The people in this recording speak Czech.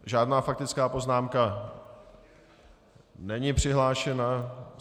Žádná faktická poznámka není přihlášena.